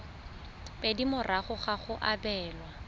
pedi morago ga go abelwa